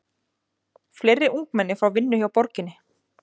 Fleiri ungmenni fá vinnu hjá borginni